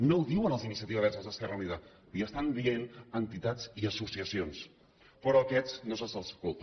no ho diuen els d’iniciativa verds esquerra unida li ho estan dient entitats i associacions però a aquests no se’ls escolta